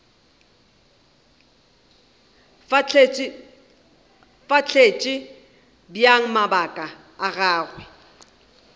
fahletše bjang mabaka a gagwe